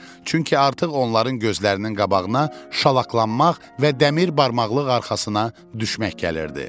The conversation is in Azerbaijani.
Çünki artıq onların gözlərinin qabağına şalaqlanmaq və dəmir barmaqlıq arxasına düşmək gəlirdi.